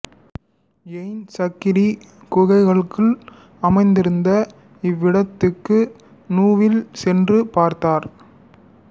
எய்ன் சக்ரி குகைகளுக்குள் அமைந்திருந்த இவ்விடத்துக்கு நுவில் சென்று பார்த்தார்